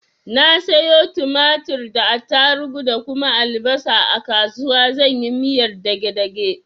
Na sayo tumatir da attarugu da kuma albasa a kasuwa zan yi miyar dage dage.